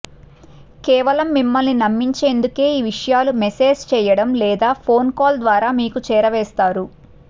కేవలం మిమ్మల్ని నమ్మించేందుకే ఈ విషయాలు మెస్సేజ్ చేయడం లేక ఫోన్ కాల్ ద్వారా మీకు చేరవేస్తారు